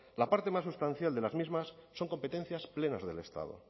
la parte más sustancial de las mismas son competencias plenas del estado